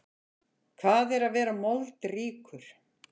Hvað er að vera moldríkur?